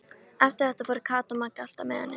Eftir þetta fóru Kata og Magga alltaf með henni.